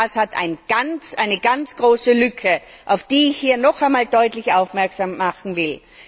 Das hat eine ganz große Lücke, auf die ich hier noch einmal deutlich aufmerksam machen will.